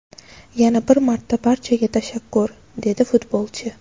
Yana bir marta barchaga tashakkur”, – dedi futbolchi.